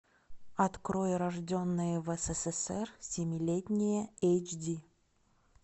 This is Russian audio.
открой рожденные в ссср семилетние эйч ди